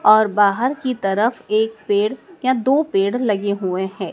और बाहर की तरफ एक पेड़ या दो पेड़ लगे हुए हैं।